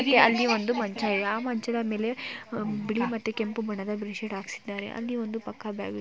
ಅಲ್ಲಿ ಒಂದು ಮಂಚ ಆ ಮಂಚದ ಮೇಲೆ ಬಿಳಿ ಮತ್ತು ಕೆಂಪು ಬೆಡ್‌ಶೀಟ್‌ ಹಾಕಿದ್ದಾರೆ ಅಲ್ಲಿ ಪಕ್ಕ ಒಂದು ಬ್ಯಾಗ್‌ ಇಟ್ಟಿದ್ದಾರೆ.